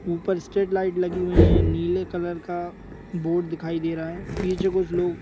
ऊपर straight street light लगी हुई है नीले कलर का बोर्ड दिखाई दे रहा है पीछे कुछ लोग--